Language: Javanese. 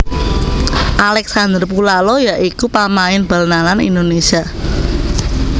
Alexander Pulalo ya iku pamain bal nalan Indonésia